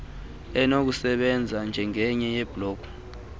enokusebenza njengenye yeebloko